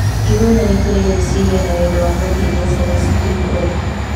Ithuothe nĩ tũrĩ rĩciria na wendo wa gũteithia ciana citũ ikũre.